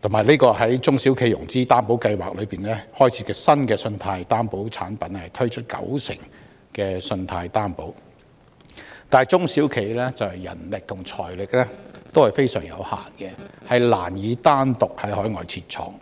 東盟國家，以及在中小企融資擔保計劃增設新的信貸擔保產品，推出九成信貸擔保，但中小企的人力和財力均非常有限，難以單獨在海外設廠。